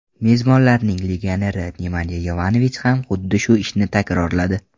Mezmonlarning legioneri Nemanya Yovanovich ham xuddi shu ishni takrorladi.